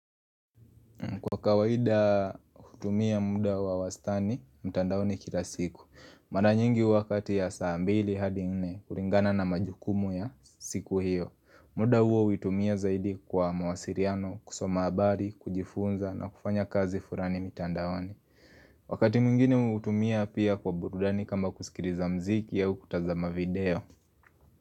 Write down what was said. Kwa kawaida hutumia muda wa wastani, mtandaoni kila siku Mara nyingi wakati ya saa mbili hadi nne, kulingana na majukumu ya siku hiyo muda huo hutumia zaidi kwa mawasiriano, kusoma habari, kujifunza na kufanya kazi fulani mtandawani Wakati mingine huutumia pia kwa burudani kama kusikiriza mziki au kukutazama video.